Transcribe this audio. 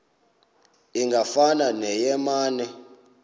ingafana neye mane